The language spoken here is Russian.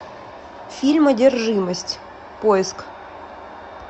фильм одержимость поиск